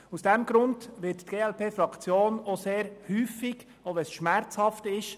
Aus diesem Grund wird die glpFraktion sehr häufig der Regierung folgen, auch wenn die Massnahmen schmerzhaft sind.